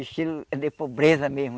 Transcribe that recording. Estilo de pobreza mesmo.